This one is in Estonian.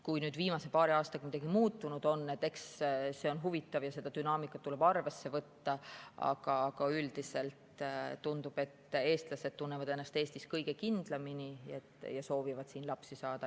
Kui viimase paari aastaga midagi muutunud on, siis see on huvitav ja seda dünaamikat tuleb arvesse võtta, aga üldiselt tundub, et eestlased tunnevad ennast Eestis kõige kindlamini ja soovivad siin lapsi saada.